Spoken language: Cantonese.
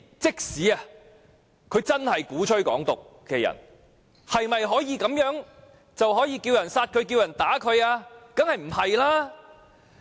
即使有人鼓吹"港獨"，是否便代表可以着其他人殺他、打他呢？